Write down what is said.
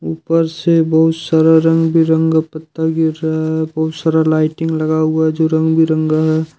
ऊपर से बहुत सारा रंग बिरंगा पत्ता गिर रहा है बहुत सारा लाइटिंग लगा हुआ जो रंग बिरंगा है।